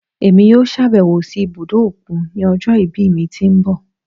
Èmi yóò ṣàbẹ̀wò sí ibùdó òkun ní ọjọ́ ìbí mi tí ń bọ̀.